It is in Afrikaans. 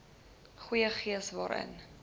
goeie gees waarin